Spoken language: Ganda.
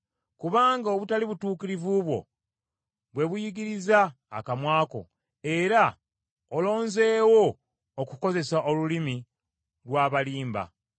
Kubanga obutali butuukirivu bwo bwe buyigiriza akamwa ko, era olonzeewo okukozesa olulimi lw’abalimba.